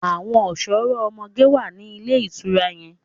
Àwọn ọ̀ṣọ́rọ́ ọmọge wà ní ilé ìtura yẹn.